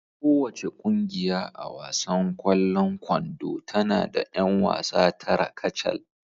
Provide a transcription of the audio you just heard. Kowace ƙungiya a wasan kwallon kwando tana da 'yan wasa tara kacal